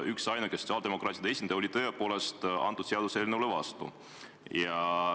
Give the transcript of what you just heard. Üksainuke sotsiaaldemokraatide esindaja oli tõepoolest antud seaduseelnõule vastu.